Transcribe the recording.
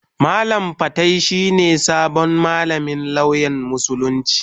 Malam fatai shi ne sabon malamin lauyan Musulunci.